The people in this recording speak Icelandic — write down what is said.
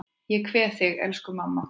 Ég kveð þig, elsku mamma.